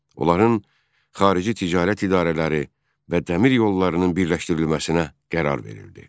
Onların xarici ticarət idarələri və dəmir yollarının birləşdirilməsinə qərar verildi.